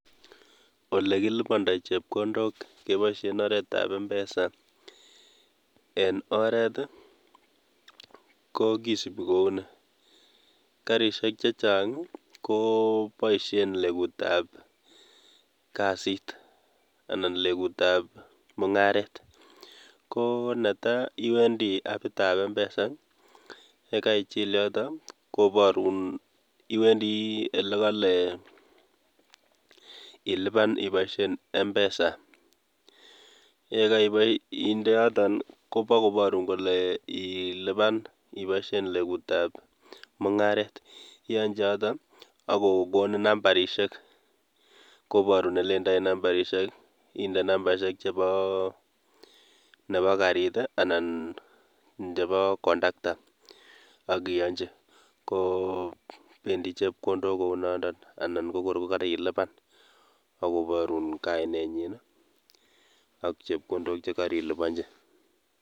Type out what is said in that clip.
Ole kilipondoi chepkondook keboishien oretab mpesa en oret i,ko kisiibi kouni, garisiek chechang koboishien legutab kasit anan legutab mungaret. Konetai iwendii apit ab mpesa yekaichil yoton koboorun yewendi olekole ilipan ibooshien mpesa. Yekeinde yoton koboru kole ilipan ibooshien legutab mungaret ,iyonyii choton ak kokoniin nambarisiek ,kobooru ole indoi nambarisiek. Inde nambaisiek chebo nebo garit i,anan ko chebo kondaktaa ak iyonyii ko bendii chepkondook kounotok anan ko kor koralipan akoboorun kainenyin ak chepkondok chekeriliponyii.